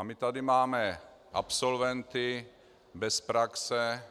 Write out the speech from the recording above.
A my tady máme absolventy bez praxe,